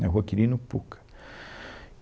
na rua Quirino Pucca.